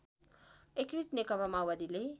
एकीकृत नेकपा माओवादीले